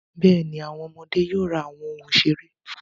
Bẹ́ẹ̀ni, àwọn ọmọdé yóò ra àwọn ohun ìṣeré.